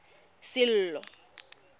sello